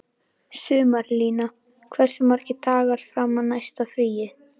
Sumarlína, hversu margir dagar fram að næsta fríi?